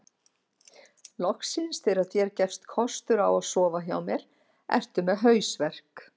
Loksins þegar þér gefst kostur á að sofa hjá mér ertu með hausverk